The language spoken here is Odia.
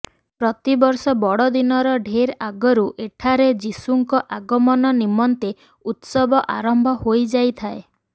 ପ୍ରତିବର୍ଷ ବଡ଼ଦିନର ଢେର ଆଗରୁ ଏଠାରେ ଯୀଶୁଙ୍କ ଆଗମନ ନିମନ୍ତେ ଉତ୍ସବ ଆରମ୍ଭ ହୋଇଯାଇଥାଏ